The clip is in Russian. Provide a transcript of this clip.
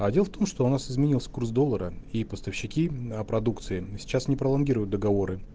а дело в том что у нас изменился курс доллара и поставщики продукции сейчас не пролонгируют договоры